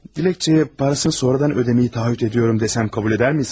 Diləkçəyə parasını sonradan ödəyəcəyimi taahhüd ediyorum desem, qəbul edər misiniz?